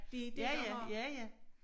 Det er det der har